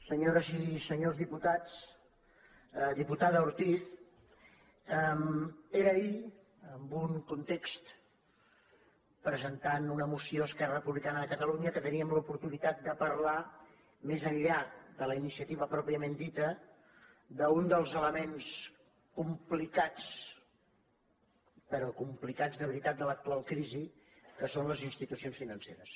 senyores i senyors diputats diputada ortiz era ahir en un context pre·sentant una moció esquerra republicana de catalu·nya que teníem l’oportunitat de parlar més enllà de la iniciativa pròpiament dita d’un dels elements compli·cats però complicats de veritat de l’actual crisi que són les institucions financeres